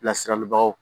Bilasiralibaw